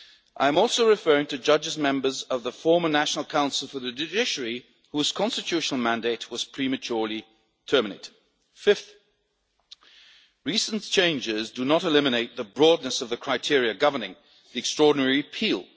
I am also referring to judges' members of the former National Council for the Judiciary whose constitutional mandate was prematurely terminated. Fifth, recent changes do not eliminate the broadness of the criteria governing extraordinary appeal.